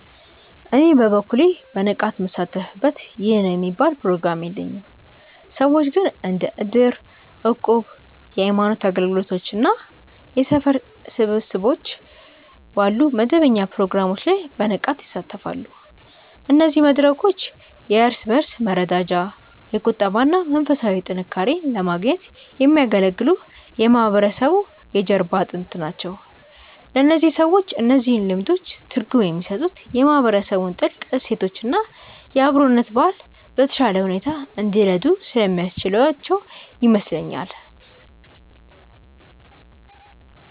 እኔ በበኩሌ በንቃት ምሳተፍበት ይህ ነው የሚባል ፕሮግራም የለኝም። ሰዎች ግን እንደ እድር፣ እቁብ፣ የሃይማኖት አገልግሎቶች እና የሰፈር ስብሰባዎች ባሉ መደበኛ ፕሮግራሞች ላይ በንቃት ይሳተፋሉ። እነዚህ መድረኮች የእርስ በእርስ መረዳጃ፣ የቁጠባ እና መንፈሳዊ ጥንካሬን ለማግኘት የሚያገለግሉ የማህበረሰቡ የጀርባ አጥንቶች ናቸው። ለእነዚህ ሰዎች እነዚህ ልምዶች ትርጉም የሚሰጡት የማህበረሰቡን ጥልቅ እሴቶች እና የአብሮነት ባህል በተሻለ ሁኔታ እንዲረዱ ስለሚያስችላቸው ይመስለኛል።